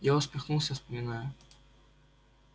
я усмехнулся вспоминая